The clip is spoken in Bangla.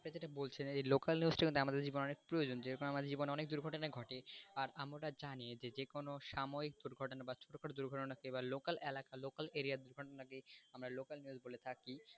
তো যেটা বলছিলাম এই local news টা কিন্তু আমাদের জীবনে অনেক প্রয়োজন যেরকম আমাদের জীবনে অনেক দুর্ঘটনাই ঘটে আর আমরা জানি যে যেকোনো সাময়িক দুর্ঘটনা বা ছোটো খাটো দুর্ঘটনা এবার local এলাকার local area র থাকি,